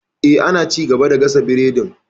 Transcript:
Eh, ana ci gaba da gasa biredin.